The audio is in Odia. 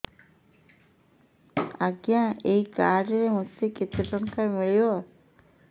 ଆଜ୍ଞା ଏଇ କାର୍ଡ ରେ ମୋତେ କେତେ ଟଙ୍କା ମିଳିବ